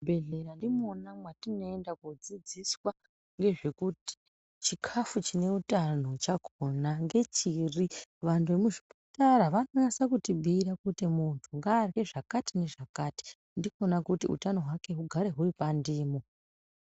Muzvibhedhleya ndimwona mwatinoenda kodzidziswa ngezvekuti chikafu chine utano chakona ngechiri vantu vemuzvipatara vanonasa kutibhiira kuti muntu ngaarye zvakati nezvakati ndikona kuti utano hwake hugare huri pandimo.